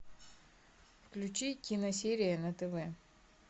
включи киносерия на тв